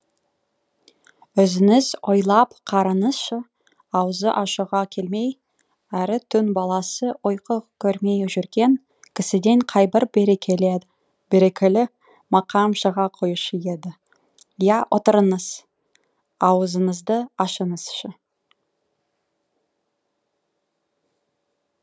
өзіңіз ойлап қараңызшы аузы ашуға келмей әрі түн баласы ұйқы көрмей жүрген кісіден қайбір берекелі мақам шыға қоюшы еді иә отырыңыз аузыңызды ашыңызшы